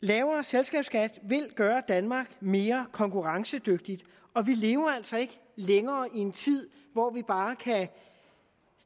lavere selskabsskat vil gøre danmark mere konkurrencedygtigt og vi lever altså ikke længere i en tid hvor vi bare kan